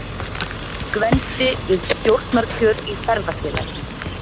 Gvendi við stjórnarkjör í Ferðafélaginu.